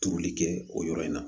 Turuli kɛ o yɔrɔ in na